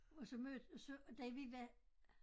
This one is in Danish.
Og så mødte så da vi var